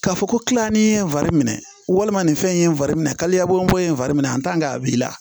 K'a fɔ ko kilani ye n fari minɛ walima nin fɛn in ye n fari minɛ kayɛbɔ ye n fari min a a b'i la